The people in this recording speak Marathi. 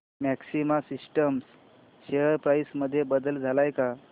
मॅक्सिमा सिस्टम्स शेअर प्राइस मध्ये बदल आलाय का